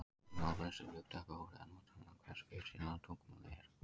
Í málvísindum er hugtakið óreiða notað um það hversu fyrirsjáanlegt tungumálið er.